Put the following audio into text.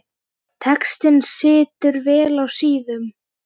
Textinn situr vel á síðum.